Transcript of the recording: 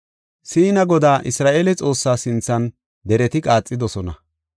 Siina Godaa, Isra7eele Xoossaa sinthan, dereti qaaxidosona;